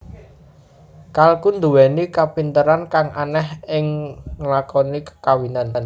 Kalkun nduwèni kapinteran kang aneh ing nglakoni kekawinan